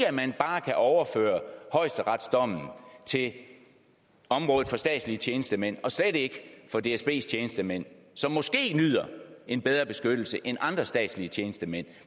at man bare kan overføre højesteretsdommen til området for statslige tjenestemænd og slet ikke for dsbs tjenestemænd som måske nyder en bedre beskyttelse end andre statslige tjenestemænd